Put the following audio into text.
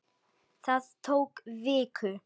Það tók viku.